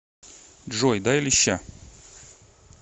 джой дай леща